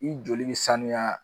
I joli bɛ sanuya